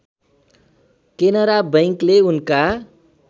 केनरा बैंकले उनका